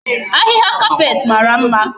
Ahihia carpet mara mma